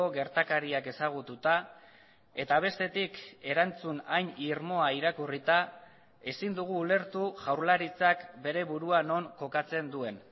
gertakariak ezagututa eta bestetik erantzun hain irmoa irakurrita ezin dugu ulertu jaurlaritzak bere burua non kokatzen duen